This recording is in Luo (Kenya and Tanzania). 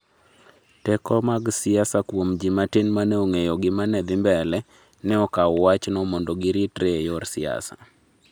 Teko mag siasa kuom ji matin mane ong'eyo gima ne dhi mbele, ne okawo wach no mondo giritere e yor siasa